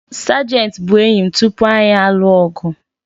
Sajenti bụ enyi m tupu anyị alụ ọgụ